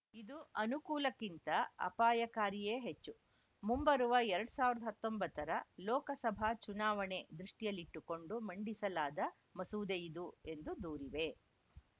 ಇದು ಅನುಕೂಲಕ್ಕಿಂತ ಅಪಾಯಕಾರಿಯೇ ಹೆಚ್ಚು ಮುಂಬರುವ ಎರಡ್ ಸಾವಿರ್ದ ಹತ್ತೊಂಬತ್ತರ ಲೋಕಸಭಾ ಚುನಾವಣೆ ದೃಷ್ಟಿಯಲ್ಲಿಟ್ಟುಕೊಂಡು ಮಂಡಿಸಲಾದ ಮಸೂದೆಯಿದು ಎಂದು ದೂರಿದೆ